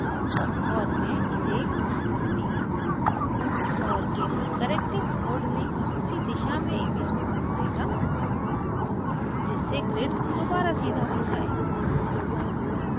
और मैं इसे घुमा सकती हूँ और gimp corrective mode में उसी दिशा में image को घुमाएगा जिससे grid दोबारा सीधा हो जाये